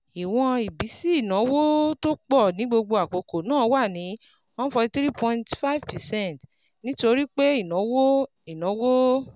Ìwọ̀n ìbísí ìnáwó tó pọ̀ ní gbogbo àkókò náà wà ní one hundred forty three point five percent nítorí pé ìnáwó ìnáwó